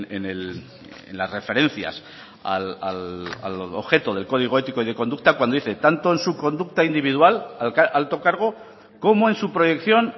en las referencias al objeto del código ético y de conducta cuando dice tanto en su conducta individual alto cargo como en su proyección